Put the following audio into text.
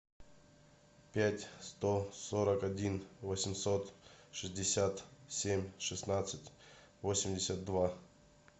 пять сто сорок один восемьсот шестьдесят семь шестнадцать восемьдесят два